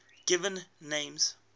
given names